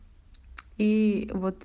и вот